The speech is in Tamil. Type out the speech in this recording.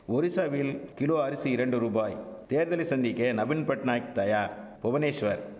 ஒரிசாவில் கிலோ அரிசி இரண்டு ரூபாய் தேர்தலை சந்திக்க நபீன்பட்நாயக் தயார் புவனேஸ்வர்